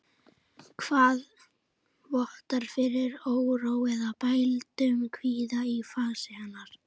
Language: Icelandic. Það vottar fyrir óró eða bældum kvíða í fasi hennar.